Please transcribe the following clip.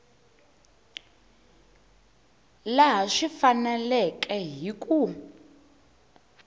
laha swi faneleke hi ku